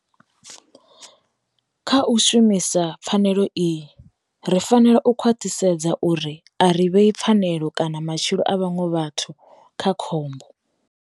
Kha u shumisa pfanelo iyi, ri fanela u khwaṱhisedza uri a ri vhei pfanelo kana matshilo a vhaṅwe vhathu kha khovhakhombo.